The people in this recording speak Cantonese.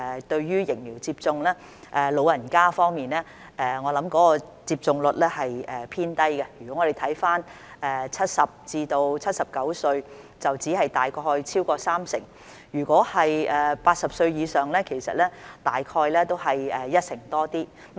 對於疫苗接種，在老人家方面，我想有關接種率是偏低的，我們看看70至79歲人士的接種率，只是超過約三成；如果是80歲以上，其實接種率都只是一成多。